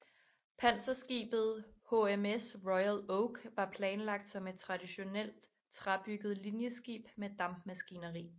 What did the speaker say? Panserskibet HMS Royal Oak var planlagt som et traditionelt træbygget linjeskib med dampmaskineri